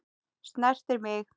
Snertir mig.